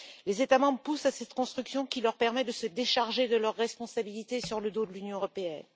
Les États membres adhèrent à cette construction qui leur permet de se décharger de leurs responsabilités sur le dos de l'Union européenne.